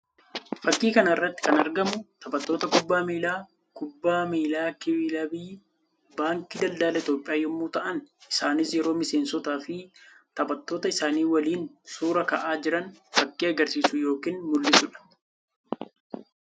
Fakkii kana irratti kan argamu taphatoota kubbaa miillaa kubbaa miillaa kilba baankii daldala Itoophiyaa yammuu ta'an isaanis yeroo miseensotaa fi taphattoota isaanii waliin suuraa ka'aa jiran fakkii agarsiisu yookiin mul'isuu dha.